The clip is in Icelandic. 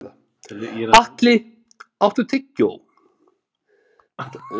Atli, áttu tyggjó?